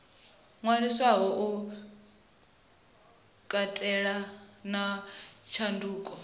ṅwaliswaho u katela na tshanduko